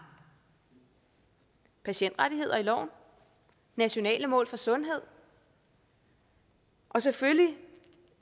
patientrettigheder i loven nationale mål for sundhed og selvfølgelig